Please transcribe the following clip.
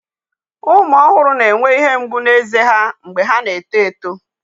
Ụmụ ọhụrụ na-enwe ihe mgbu na ézè ha mgbe ha na-eto eto.